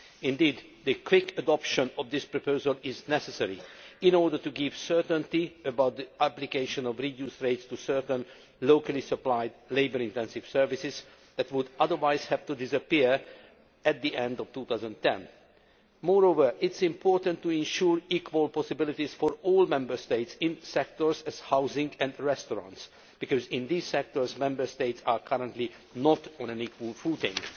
Indeed, the quick adoption of this proposal is necessary in order to give certainty about the application of reduced rates to certain locally supplied, labour intensive services that would otherwise have to disappear at the end of 2010. Moreover, it is important to ensure equal possibilities for all Member States in sectors such as housing and restaurants, because in these sectors Member States are currently not on an equal footing.